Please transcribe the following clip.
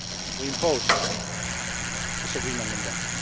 We imposed this agreement on them.